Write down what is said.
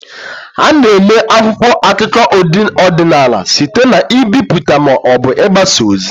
A na-eme akwụkwọ akụkọ ọdịnala site na mbipụta ma ọ bụ mgbasa ozi.